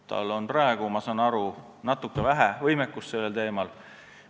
Tal on praegu, ma saan aru, natuke vähe võimekust sellel teemal.